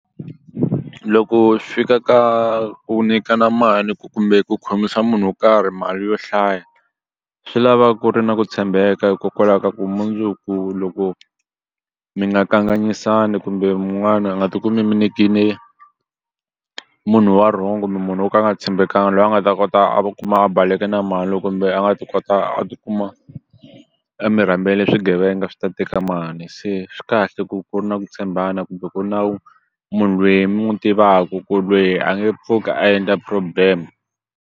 Loko fika ka ku nikana mali kumbe ku khomisa munhu wo karhi mali yo hlaya swi lava ku ri na ku tshembeka hikokwalaho ka ku mundzuku loko mi nga kanganyisani kumbe wun'wani a nga ti kumi mi nyike munhu wa wrong kumbe munhu wo ka a nga tshembekanga loyi a nga ta kota a kuma a baleke na mani loko kumbe a nga ti kota a tikuma a mi rhambele swigevenga swi ta teka mali se swi kahle ku ku ri na ku tshembana kumbe ku nawu munhu lweyi mi n'wi tivaku ku lweyi a nge pfuki a endla problem.